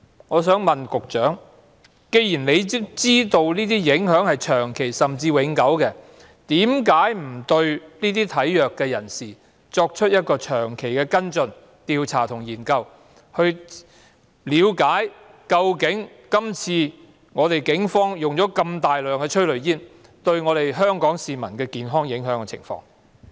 我想問局長，既然他知道這些影響是長期甚至永久的，為何當局不對體弱人士作出長期跟進、調查和研究，以了解今次警方大量使用催淚煙對香港市民的健康有甚麼影響？